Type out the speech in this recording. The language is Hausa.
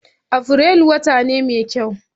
Afrilu wata ne mai kyau